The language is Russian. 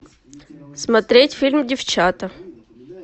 смотреть фильм девчата